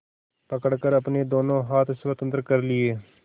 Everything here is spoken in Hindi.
पकड़कर अपने दोनों हाथ स्वतंत्र कर लिए